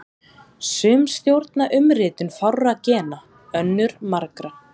Sum stjórna umritun fárra gena, önnur margra.